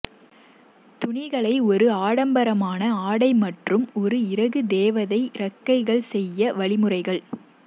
துணிகளை ஒரு ஆடம்பரமான ஆடை மற்றும் ஒரு இறகு தேவதை இறக்கைகள் செய்ய வழிமுறைகள்